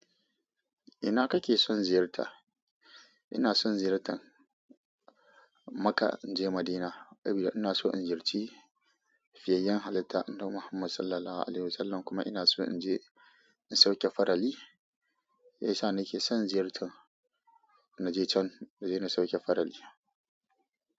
Ina kake son ziyarta? Ina son ziyartan Makka in je Madina saboda ina so in ziyarci fiyayen halitta Annabi Muhammad Sallallahu Alaihi Wasallam kuma ina so in je in sauke farali. Ya isa nake son ziyarta na je can, na je na sauke farali.